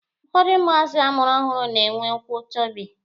Ụfọdụ ụmụazị a mụrụ ọhụrụ na-enwe ụkwụ chọbị.